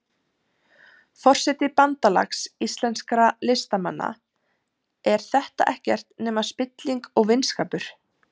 Forseti Bandalags íslenskra listamanna, er þetta ekkert nema spilling og vinskapur?